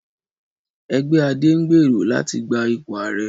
Ẹgbẹ́ Ade ń gbèrò láti gba ipò ààrẹ